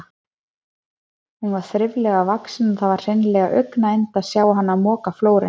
Hún var þriflega vaxin og það var hreinlega augnayndi að sjá hana moka flórinn.